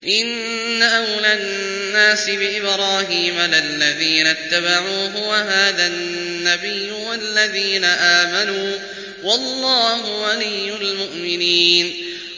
إِنَّ أَوْلَى النَّاسِ بِإِبْرَاهِيمَ لَلَّذِينَ اتَّبَعُوهُ وَهَٰذَا النَّبِيُّ وَالَّذِينَ آمَنُوا ۗ وَاللَّهُ وَلِيُّ الْمُؤْمِنِينَ